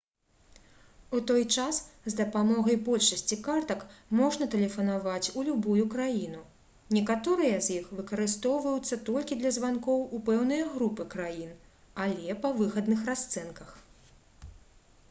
у той час з дапамогай большасці картак можна тэлефанаваць у любую краіну некаторыя з іх выкарыстоўваюцца толькі для званкоў у пэўныя групы краін але па выгадных расцэнках